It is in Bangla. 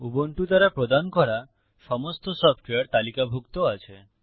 উবুন্টু দ্বারা প্রদান করা সমস্ত সফটওয়্যার তালিকাভুক্ত আছে